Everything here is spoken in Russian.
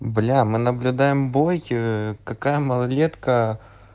бля мы наблюдаем бой какая малолетка